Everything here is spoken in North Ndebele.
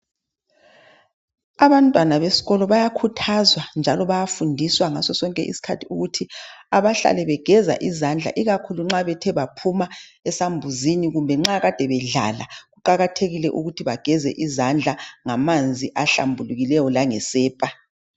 Abantwana besikolo bayakhuthazwa njalo bayafundiswa ngasosonke isikhathi ukuthi abahlale begeza izandla ikakhulu nxa bethebaphuma esambuzini kumbe nxa kade bedlala kuqakathekile ukuthi bageze izandla ngamanzi ahlambulukileyo langesepa.